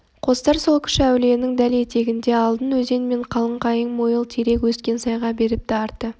қостар сол кіші-әулиенің дәл етегінде алдын өзен мен қалың қайың мойыл терек өскен сайға беріпті арты